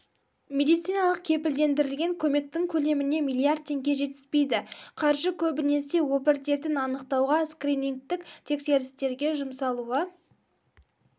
медициналық кепілдендірілген көмектің көлеміне миллиард теңге жетіспейді қаржы көбінесе обыр дертін анықтауға скринингтік тексерістерге жұмсалуы